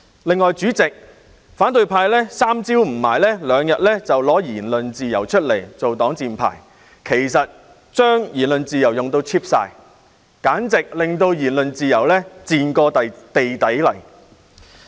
另外，代理主席，反對派經常把言論自由搬出來作為"擋箭牌"，把言論自由用到 cheap 了，令言論自由簡直"賤過地底泥"。